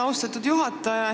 Austatud juhataja!